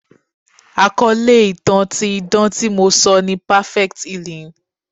Àkọ́lé ìtàn ti idán tí mo sọ ni "perfect healing."